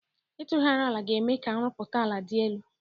Ịtụgharị ala ga-eme ka nrụpụta ala dị elu.